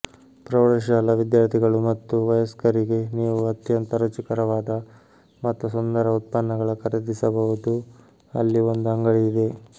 ಪ್ರೌಢಶಾಲಾ ವಿದ್ಯಾರ್ಥಿಗಳು ಮತ್ತು ವಯಸ್ಕರಿಗೆ ನೀವು ಅತ್ಯಂತ ರುಚಿಕರವಾದ ಮತ್ತು ಸುಂದರ ಉತ್ಪನ್ನಗಳ ಖರೀದಿಸಬಹುದು ಅಲ್ಲಿ ಒಂದು ಅಂಗಡಿ ಇದೆ